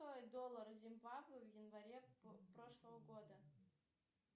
доллар зимбабве в январе прошлого года